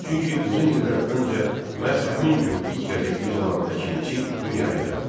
Çünki uzun illər öncə məhz həmin gün ilk qəzetimiz olan Əkinçi dünyaya gəldi.